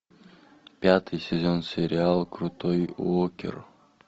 пятый сезон сериал крутой уокер